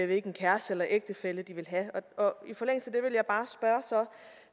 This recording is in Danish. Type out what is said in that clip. hvilken kæreste eller ægtefælle de vil have i forlængelse